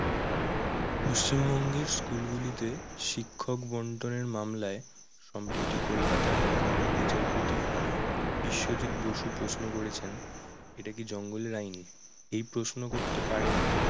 পশ্চিমবঙ্গের school গুলিতে শিক্ষক বন্টনের মামলায় সম্প্রতি কলকাতা high court এর বিচারপতি বিশ্বজিৎ বসু প্রশ্ন করেছেন এটা কি জঙ্গলের আইন? এই প্রশ্ন করতে পারেন